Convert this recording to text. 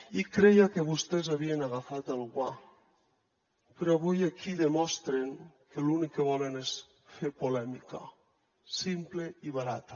i creia que vostès havien agafat el guant però avui aquí demostren que l’únic que volen és fer polèmica simple i barata